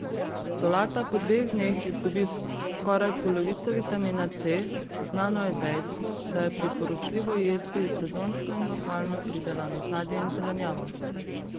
Solata po dveh dnevih izgubi skoraj polovico vitamina C Znano je dejstvo, da je priporočljivo jesti sezonsko in lokalno pridelano sadje in zelenjavo.